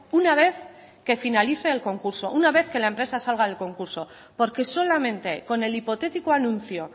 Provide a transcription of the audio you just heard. una vez que finalice el concurso una vez que la empresa salga del concurso porque solamente con el hipotético anuncio